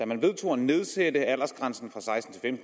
man vedtog at nedsætte aldersgrænsen fra seksten